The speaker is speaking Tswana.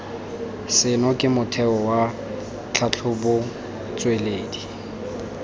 seno ke motheo wa tlhatlhobotsweledi